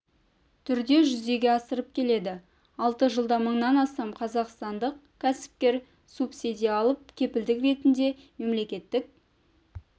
түрде жүзеге асырып келеді алты жылда мыңнан астам қазақстандық кәсіпкер субсидия алып кепілдік ретінде мемлекеттік